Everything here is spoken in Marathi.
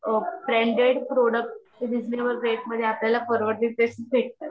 ब्रांडेड प्रॉडक्ट रिजनेबल रेट मधे आपल्याला परवडतील तेच भेटतात